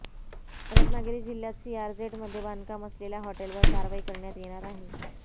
रत्नागिरी जिल्ह्यात सीआरझेड मध्ये बांधकाम असलेल्या हॉटेलवर कारवाई करण्यात येणार अाहे